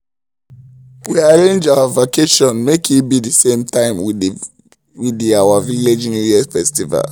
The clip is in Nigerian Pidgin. we arrange our vacation make e be the same time with the our village new year festival